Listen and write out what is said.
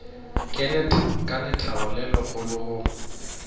ka lethabo le legolo go